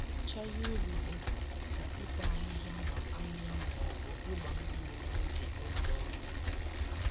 Nyocha ihe ubi dị mkpa dị ka ịta ahịhịa ma ahịhịa ma ọ bụ ịgba mmiri n'oge oge ọrụ ugbo.